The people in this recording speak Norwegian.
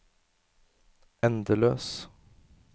endeløs